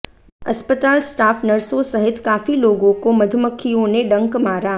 अस्पताल स्टाफ नर्सो सहित काफी लोगों को मधुमक्खियों ने डंक मारा